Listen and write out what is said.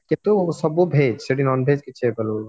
କିନ୍ତୁ ସବୁ veg non veg କିଛି ହେଇପାରୁନଥିବା